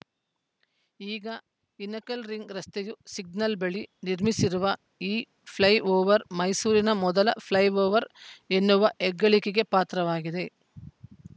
ಈಗ ಹಿನಕಲ್‌ ರಿಂಗ್‌ ರಸ್ತೆಯ ಸಿಗ್ನಲ್‌ ಬಳಿ ನಿರ್ಮಿಸಿರುವ ಈ ಫ್ಲೈ ಓವರ್‌ ಮೈಸೂರಿನ ಮೊದಲ ಫ್ಲೈ ಓವರ್‌ ಎನ್ನುವ ಹೆಗ್ಗಳಿಕೆಗೆ ಪಾತ್ರವಾಗಿದೆ